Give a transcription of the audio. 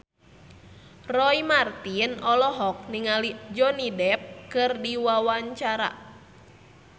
Roy Marten olohok ningali Johnny Depp keur diwawancara